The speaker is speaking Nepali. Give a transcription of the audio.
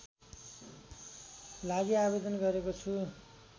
लागि आवेदन गरेको छु